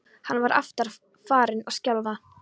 Hann var aftur farinn að skjálfa.